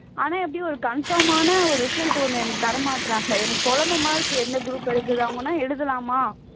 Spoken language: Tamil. ஆனா ஒரு confirm ஆன result ஒண்ணு எனக்கு தரமாட்டேங்கிறாங்க எனக்கு குழப்பமா இருக்கு என்ன group எடுக்கிறது எழுதலாமா